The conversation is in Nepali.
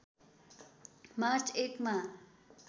मार्च १ मा